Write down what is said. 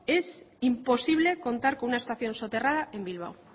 es imposible contar con una estación soterrada en bilbao